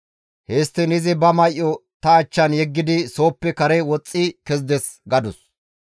Histtiin izi ba may7o ta achchan yeggidi sooppe kare woxxi kezides» gadus.